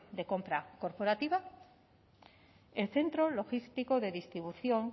de compra corporativa en centro logístico de distribución